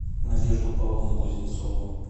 надежду павловну кузнецову